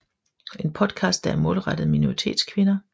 En podcast der er målrettet minoritetskvinder